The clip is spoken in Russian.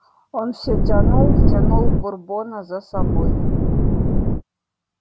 он всё тянул тянул бурбона за собой